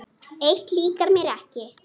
Eitt líkar mér ekki.